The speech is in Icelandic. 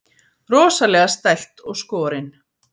Rosalega stælt og skorin.